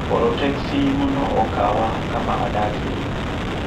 Oro teksi mondo okaw kama adakie